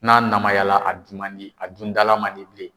N'a namyala a dun man di , a dundala man di bilen.